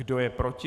Kdo je proti?